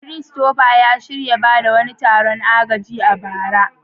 Christopher ya shirya wani taron ba da agaji a bara.